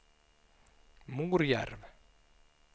Morjärv